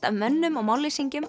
af mönnum og